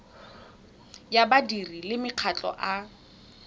ya badiri le makgotla a